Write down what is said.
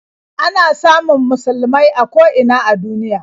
Ana samun musulmai a ko ina a duniya.